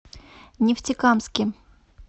нефтекамске